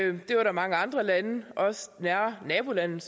og det var der mange andre lande også nære nabolande